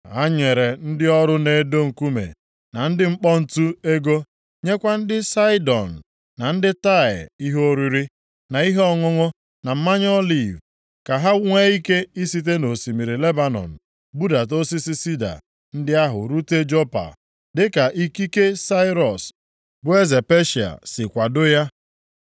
Ha nyere ndị ọrụ na-edo nkume na ndị ọkpọ ǹtu ego, nyekwa ndị Saịdọn na ndị Taịa ihe oriri, na ihe ọṅụṅụ na mmanụ oliv, ka ha nwee ike isite nʼosimiri Lebanọn budata osisi sida ndị ahụ rute Jopa, dịka ikike Sairọs bụ eze Peshịa si kwadoo ya.